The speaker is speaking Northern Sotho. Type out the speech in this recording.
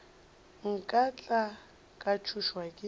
nka tla ka tšhošwa ke